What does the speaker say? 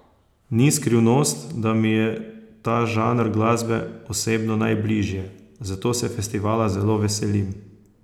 Ni skrivnost, da mi je ta žanr glasbe osebno najbliže, zato se festivala zelo veselim.